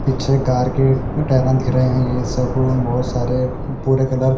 पीछे गार के टेरन दिख रहे हैं ये सब बहुत सारे पूरे कलर --